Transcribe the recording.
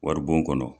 Wari bon kɔnɔ